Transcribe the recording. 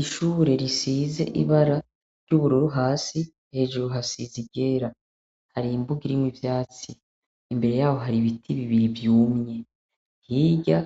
Ishure risize ibara ry'ubururu hasi hejuru hasize iryera, hari imbuga irimwo ivyatsi, imbere yaho hari ibiti bibiri vyumye, hirya